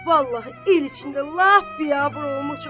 Vallah, el içində lap biabır olmuşuq.